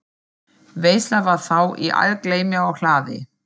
Veisla var þá í algleymi á hlaði.